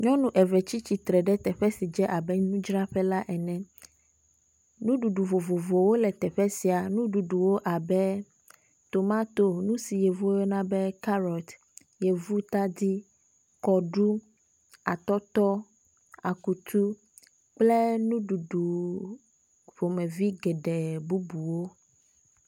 Nyɔnu eve tsi tsitre ɖe teƒe s dze abe nudzraƒe la ene. Nuɖuɖu vovovowo le teƒe sia. Nuɖuɖuwo abe; tomatosi, nu si yevwo yɔna be kaɖɔt, yevutadi, kɔɖu, atɔtɔ, akutu kple nuɖuɖu ƒomevi geɖe bubuwo.